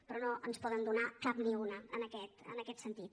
però no ens en poden donar cap ni una en aquest sentit